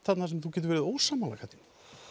þarna sem þú getur verið ósammála Katrín